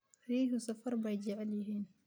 Riyuhu safar bay jecel yihiin.